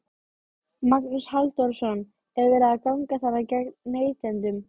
Magnús Halldórsson: Er verið að ganga þarna gegn neytendum?